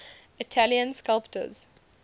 italian sculptors